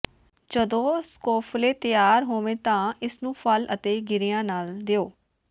ਜਦੋਂ ਸਕੋਫਲੇ ਤਿਆਰ ਹੋਵੇ ਤਾਂ ਇਸ ਨੂੰ ਫਲ ਅਤੇ ਗਿਰੀਆਂ ਨਾਲ ਦਿਓ